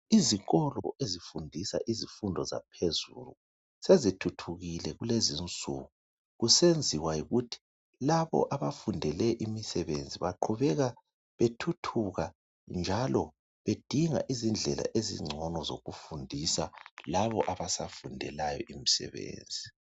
Izikolo ezifundisa izifundo zaphezulu sezithuthukile kulezi insuku kusenziwa yikuthi labo abafundele imisebenzi baqhubeka bethuthuka njalo bedinga izindlela ezingcono zokufundisa laba abasafundelayo imsebenzi